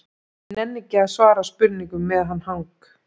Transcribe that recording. Ég nenni ekki að svara spurningum með hann hang